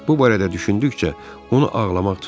Bu barədə düşündükcə, onu ağlamaq tuturdu.